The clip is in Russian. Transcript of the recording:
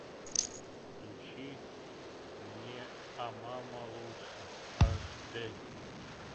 включи мне а мама лучше аш д